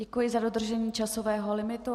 Děkuji za dodržení časového limitu.